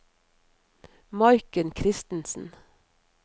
Maiken Kristensen